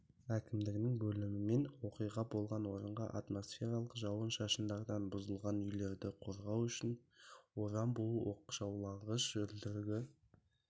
әкімдігінің бөлімімен оқиға болған орынға атмосфералық жауын-шашындардан бұзылған үйлерді қорғау үшін орам буы оқшаулағыш үлдірігі